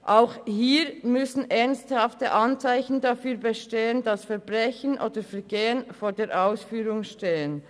Auch hier müssen ernsthafte Anzeichen dafür bestehen, dass Verbrechen oder Vergehen vor der Ausführung stehen.